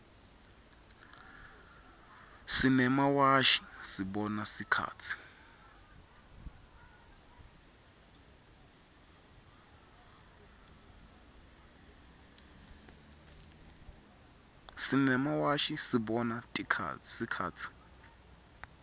simemawashi sibona sikhatsi